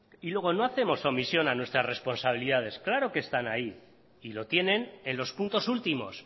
y luego no hacemos omisión a nuestras responsabilidades claro que están ahí y lo tienen en los puntos últimos